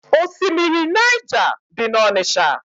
Osimiri Naịja dị n'Ọnịcha.